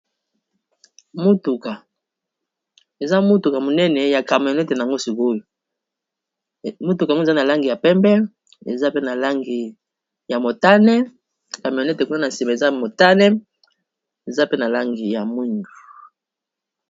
Motuka, eza motuka monene ya camionete nango sikoyo motuka yango eza na langi ya pembe eza pe na langi ya motane camionete kuna na nsima eza motane eza pe na langi ya mwindu.